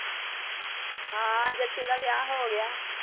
ਹਾਂ, ਜੱਸੇ ਦਾ ਵਿਆਹ ਹੋ ਗਿਆ।